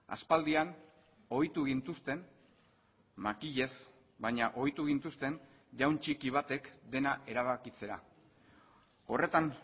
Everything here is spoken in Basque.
aspaldian ohitu gintuzten makilez baina ohitu gintuzten jaun txiki batek dena erabakitzera horretan